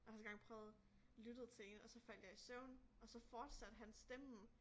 Jeg har også engang prøvet lyttede til én og så faldt jeg i søvn og så fortsatte hans stemme